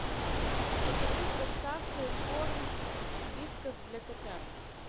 закажи с доставкой корм вискас для котят